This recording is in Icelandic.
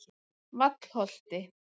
Vallholti